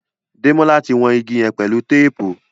Demola tí wón ìgi yén pẹlú téèpù.